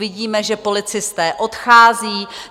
Vidíme, že policisté odcházejí.